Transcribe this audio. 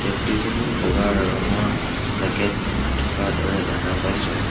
ব্যক্তিজনে বগা ৰঙৰ জেকেট পিন্ধি থকা দৰে দেখা পাইছোঁ।